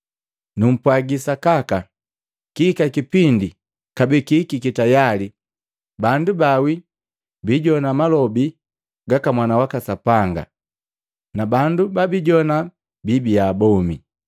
Nupwaji sakaka, kihika kipindi kabee kihikiki tayali bandu ba wii bijowana malobi gaka Mwana waka Sapanga, na bandu babijowana biibiya bomi.